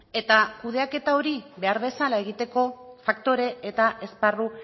eta kudeaketa hori behar bezala egiteko faktore eta esparru